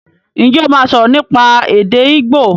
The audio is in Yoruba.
Ǹjẹ́ o máa sọ̀rọ̀ nípa èdè igbo?